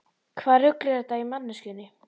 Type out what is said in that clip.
Hvaða rugl er þetta í manneskjunni?